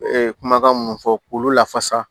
kumakan minnu fɔ k'olu lafasa